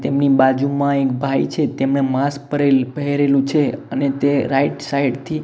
તેમની બાજુમાં એક ભાઈ છે તેમને માસ્ક પરેલ પહેરેલું છે અને તે રાઇટ સાઇડ થી--